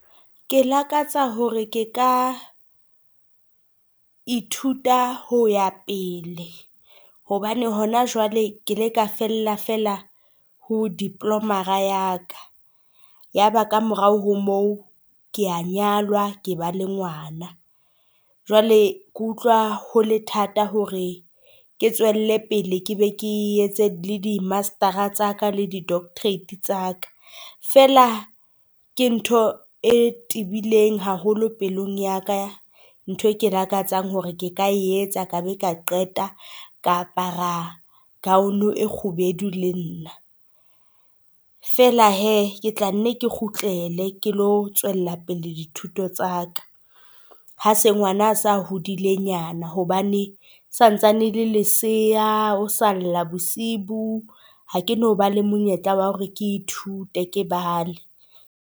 Ke lakatsa hore ke ka ithuta ho ya pele hobane hona jwale ke le ka fella fela ho diploma-ra ya ka, ya ba ka morao ho mo kea nyalwa ke ba le ngwana. Jwale ke utlwa ho le thata hore ke tswelle pele ke be ke etse le di master-ra tsa ka le di doctorate tsa ka, feela ke ntho e tebileng haholo pelong ya ka, ntho ke lakatsang hore ke ka etsa ka be ka qeta ka apara gown e kgubedu le nna. Feela hee ke tla nne ke kgutlele ke tlo tswella pele dithuto tsa ka. Ha se ngwana a sa hodile nyana, hobane santsane e le lesea o sa lla bosibu, ha ke no ba le monyetla wa hore ke ithute ke bale.